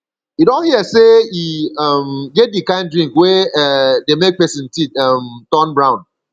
you don hear sey e um get di kind drink wey um dey make pesin teeth um turn brown